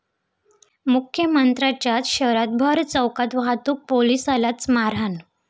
मुख्यमंत्र्यांच्याच शहरात भरचौकात वाहतूक पोलिसालाच मारहाण